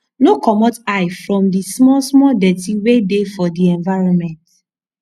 no comot eye from di small small dirty wey dey for di environment